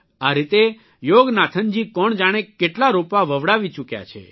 આ રીતે યોગનાથનજી કોણ જાણે કેટલા રોપા વવડાવી ચૂક્યા છે